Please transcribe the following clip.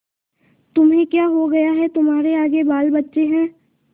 तुम्हें क्या हो गया है तुम्हारे आगे बालबच्चे हैं